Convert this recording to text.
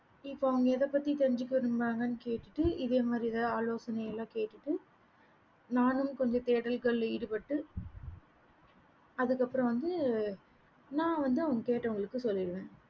இப்போ அவங்க எத பத்தி தெரிஞ்சிக்க விரும்பறாங்கன்னு கேட்டு இதே மாறி எத ஆலோசைனைகள் எல்லாம் கேட்டு நானும் கொஞ்சம் தேடல்களா ஈடுபட்டு அதுக்கு அப்பரம் வந்து நான் வந்து அவங்க கெட்டவங்களுக்கு சொல்லுவேன்